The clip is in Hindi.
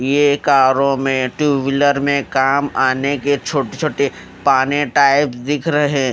ये कारों में टू व्हीलर में काम आने के छोटे छोटे पाने टाइप दिख रहे--